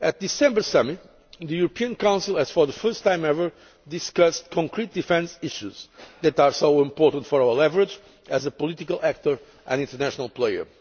Union. At the December Summit the European Council, for the first time ever, discussed concrete defence issues which are so important for our leverage as a political actor and international